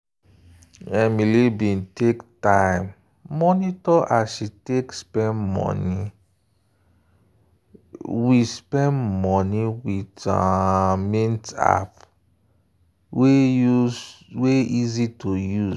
emily bin take time monitor as she take spend money with spend money with um mint app wey easy to use.